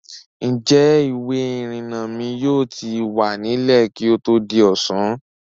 Ǹjẹ́ ìwé-ìrìnnà mi yóò ti wà nílẹ̀ kí ó tó di ọ̀sán?